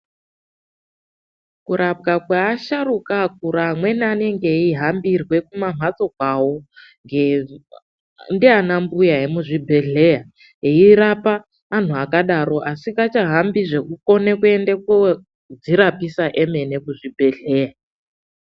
Kurapwa kweasharukwa akura amweni anenge eihambira kumamhatso kwawo, ndiana mbuya emuzvibhedhleya eirapa antu akadaro achingasahambi zvekukona kodzirapisa emene kuzvibhedhleya.